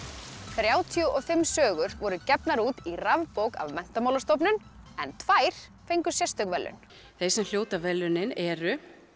þrjátíu og fimm sögur voru gefnar út í rafbók af Menntamálastofnun en tvær fengu sérstök verðlaun þau sem hljóta verðlaunin eru